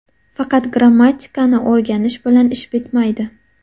Faqat grammatikani o‘rgatish bilan ish bitmaydi.